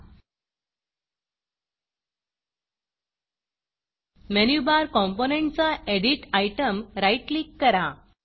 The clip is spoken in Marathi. मेनू Barमेनु बार कॉम्पोनंटचा Editएडिट आयटम राईट क्लिक करा